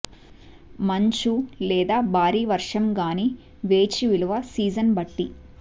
మంచు లేదా భారీ వర్షం గాని వేచి విలువ సీజన్ బట్టి